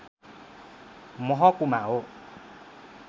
महकुमा हो